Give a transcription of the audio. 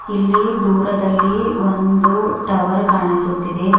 ಇಲ್ಲಿ ದೂರದಲ್ಲಿ ಒಂದು ಟವರ್ ಕಾಣಿಸುತ್ತಿದೆ.